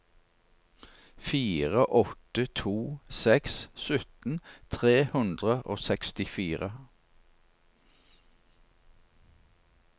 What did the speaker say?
fire åtte to seks sytten tre hundre og sekstifire